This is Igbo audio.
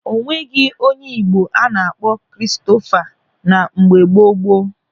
O nweghị onye Igbo a na-akpọ Kristofa na mgbe gboo gboo.